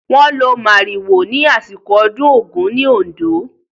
Wọ́n lo màrìwò ní àsìkò ọdún Ògún ní Oǹdó.